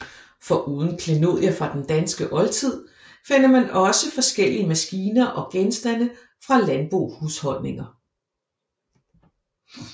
Foruden klenodier fra den danske oldtid finder man også forskellige maskiner og genstande fra landbohusholdninger